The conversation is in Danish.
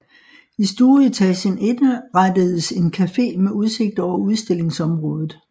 I stueetagen indrettedes en café med udsigt over udstillingsområdet